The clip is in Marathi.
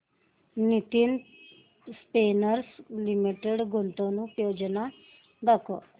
नितिन स्पिनर्स लिमिटेड गुंतवणूक योजना दाखव